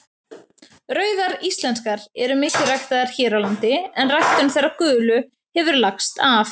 Rauðar íslenskar eru mikið ræktaðar hér á landi en ræktun þeirra gulu hefur lagst af.